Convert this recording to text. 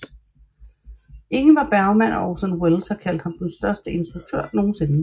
Ingmar Bergman og Orson Welles har kaldt ham den største instruktør nogensinde